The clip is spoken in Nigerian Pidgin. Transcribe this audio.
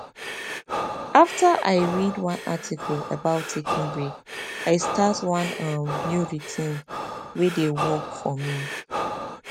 after i read one article about taking breaks i start one um new routine wey dey work for me